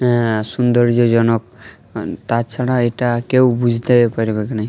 আ সৌন্দর্যজনক তাছাড়া এটা কেউ বুঝতে পারবেক নাই।